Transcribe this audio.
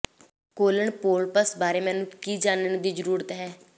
colon polyps ਬਾਰੇ ਮੈਨੂੰ ਕੀ ਜਾਣਨ ਦੀ ਜ਼ਰੂਰਤ ਹੈ